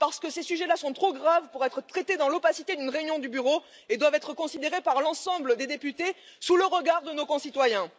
Ces sujets là sont trop graves pour être traités dans l'opacité d'une réunion du Bureau et doivent être considérés par l'ensemble des députés, sous le regard de nos concitoyens.